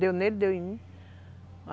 Deu nele, deu em mim.